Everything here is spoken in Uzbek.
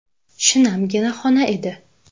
Shinamgina xona edi.